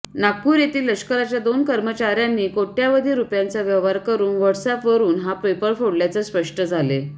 नागपूर येथील लष्कराच्या दोन कर्मचाऱ्यांनी कोट्यवधी रुपयांचा व्यवहार करून व्हॉटस्अॅपवरून हा पेपर फोडल्याचे स्पष्ट झाले